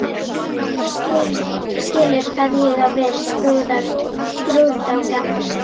Þú skilur hvað ég á við: skrúðgangan